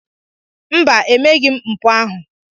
Mba, emeghị m mpụ ahụ